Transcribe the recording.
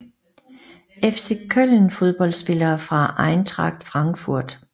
FC Köln Fodboldspillere fra Eintracht Frankfurt